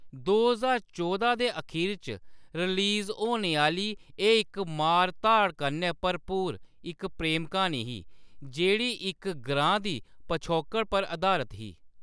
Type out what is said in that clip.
दो ज्हार चौदा दे अखीर च रिलीज होने आह्‌‌‌ली एह्‌‌ इक मार-धाड़ कन्नै भरपूर इक प्रेम क्हानी ही, जेह्‌‌ड़ी इक ग्रांऽ दी पछौकड़ पर अधारत ही।